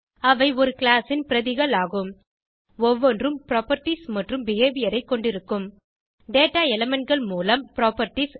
அவை ஒரு கிளாஸ் ன் பிரதிகள் ஆகும் ஒவ்வொன்றும் புராப்பர்ட்டீஸ் மற்றும் பிஹேவியர் ஐ கொண்டிருக்கும் டேட்டா elementகள் மூலம் புராப்பர்ட்டீஸ்